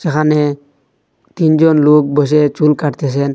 এখানে তিনজন লোক বসে চুল কাটতেছেন।